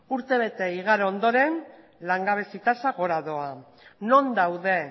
urtebete igaro ondoren langabezi tasa gora doa non daude